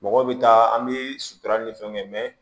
Mɔgɔw bɛ taa an bɛ sutura ni fɛnw kɛ